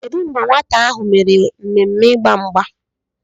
Kedu mgbe nwata ahụ mere mmemme Ịgba mgba?